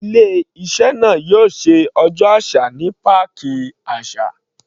Ilé iṣẹ́ náà yóò ṣe ọjọ́ àṣà ní páàkì àṣà.